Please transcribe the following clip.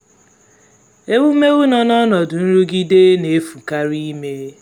ewumewụ nọ n’ọnọdụ nrụgide na-efukarị ime.